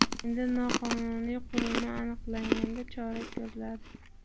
Endi noqonuniy qurilma aniqlanganda chora ko‘riladi.